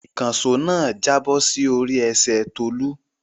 Ìkànṣó náà jábọ̀ sí orí ẹsẹ̀ Tolú.